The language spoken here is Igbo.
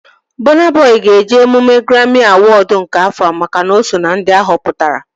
Bọna Bọi ga-eje emume graami awọd nke afọa makana o so ná ndị a họpụtara